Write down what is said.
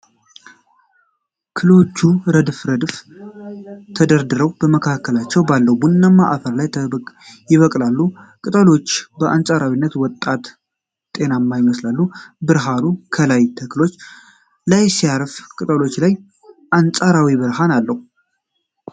ክሎቹ ረድፍ ረድፍ ተደርድረው፣ በመካከላቸው ባለው ቡናማ አፈር ላይ ይበቅላሉ። ቅጠሎቹ በአንፃራዊነት ወጣት እና ጤናማ ይመስላሉ። ብርሃኑ ከላይ ተክሎቹ ላይ ሲያርፍ ቅጠሎቹ ላይ አንጸባራቂ ብርሃን አለው።